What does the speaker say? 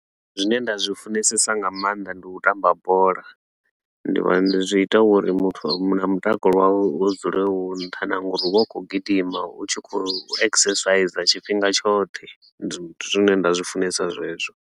Zwine nda zwi funesesa nga maanḓa ndi u tamba bola, ndi vha ndi zwi ita uri muthu a mu na mutakalo wawe u dzule u nṱha na nga uri u vha u khou gidima u tshi khou exerciser tshifhinga tshoṱhe, ndi zwine nda zwi funesa zwezwo.